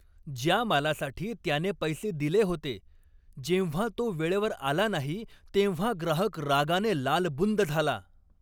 ज्या मालासाठी त्याने पैसे दिले होते जेव्हा तो वेळेवर आला नाही तेव्हा ग्राहक रागाने लालबुंद झाला.